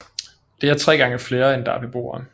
Det er tre gange flere end der er beboere